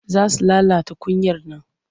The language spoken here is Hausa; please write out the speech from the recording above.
Za su lalata kunyar nan.